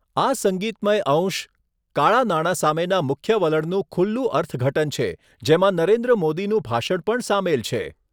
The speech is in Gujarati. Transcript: આ સંગીતમય અંશ કાળા નાણાં સામેના મુખ્ય વલણનું ખુલ્લું અર્થઘટન છે જેમાં નરેન્દ્ર મોદીનું ભાષણ પણ સામેલ છે.